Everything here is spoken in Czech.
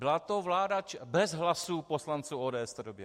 Byla to vláda - bez hlasů poslanců ODS v té době.